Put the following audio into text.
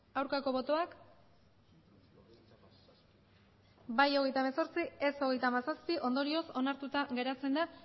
aurkako botoak bai hogeita hemezortzi ez hogeita hamazazpi ondorioz onartuta geratzen da